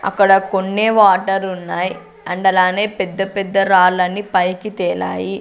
అక్కడ కొన్నే వాటర్ ఉన్నాయి అండ్ అలానే పెద్ద పెద్ద రాళ్ళని పైకి తెలాయి.